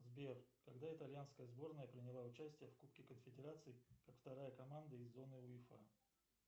сбер когда итальянская сборная приняла участие в кубке конфедерации как вторая команда из зоны уефа